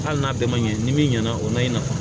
Hali n'a bɛɛ ma ɲɛ ni min ɲɛna o ma i nafa